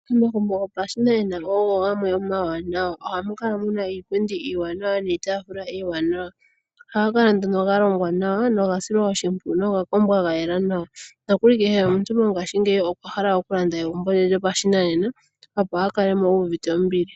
Omagumbo gopashinanena ogo gamwe omawanawa, ohamukala muna iipundi iiwanawa niitafula iimanawa, ohagakala nduno galongwa nawa nogasilwa oshimpwiyu, gakombwa gayela nawa, nokuli kehe omuntu mongashingeyi okwahala okulanda egumbo lye lyo pashinanena opo akalemo iivute ombili.